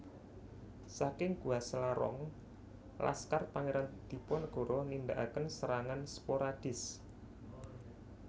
Saking Gua Selarong laskar Pangeran Diponegoro nindakaken serangan sporadis